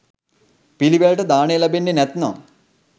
පිළිවෙලට දානය ලැබෙන්නේ් නැත්නම්